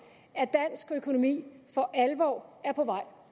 at dansk økonomi for alvor er på vej